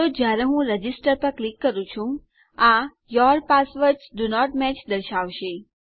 તો જયારે હું રજિસ્ટર પર ક્લિક કરું છું આ your passwords do not match દર્શાવશે